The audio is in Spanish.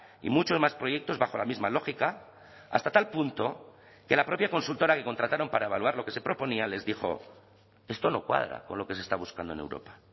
y muchos más proyectos bajo la misma lógica hasta tal punto que la propia consultora que contrataron para evaluar lo que se proponía les dijo esto no cuadra con lo que se está buscando en europa